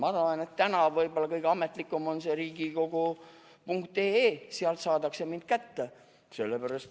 Ma arvan, et täna võib-olla kõige ametlikum on see riigikogu.ee, sealt saadakse mind kätte.